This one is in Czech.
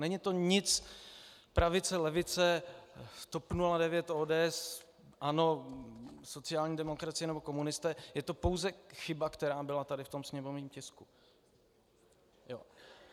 Není to nic pravice - levice, TOP 09 - ODS, ANO - sociální demokracie nebo komunisté, je to pouze chyba, která byla tady v tom sněmovním tisku.